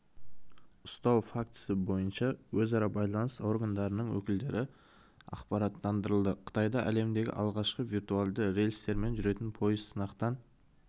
ұстау фактісі бойынша өзара байланыс органдарының өкілдері ақпараттандырылды қытайда әлемдегі алғашқы виртуалды рельстермен жүретін пойыз сынақтан